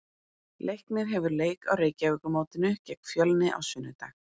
Leiknir hefur leik á Reykjavíkurmótinu gegn Fjölni á sunnudag.